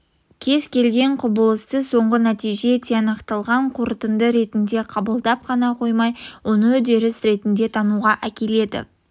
кез келген құбылысты соңғы нәтиже тиянақталған қорытынды ретінде қабылдап қана қоймай оны үдеріс ретінде тануға әкеледі